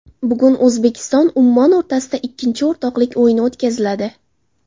Bugun O‘zbekistonUmmon o‘rtasida ikkinchi o‘rtoqlik o‘yini o‘tkaziladi.